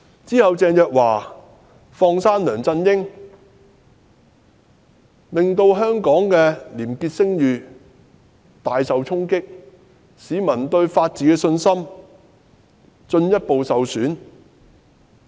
然後，鄭若驊"放生"梁振英，令香港的廉潔聲譽大受衝擊，使市民對法治的信心進一步受損。